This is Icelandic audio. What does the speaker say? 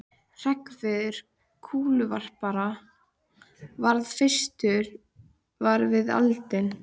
Hreggviður kúluvarpari varð fyrstur var við eldinn.